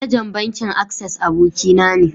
Managan bankin "access" aboki na ne.